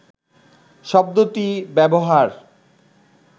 শব্দটি ব্যবহার